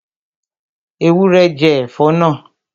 Ewúrẹ́ jẹ ẹ̀fọ́ náà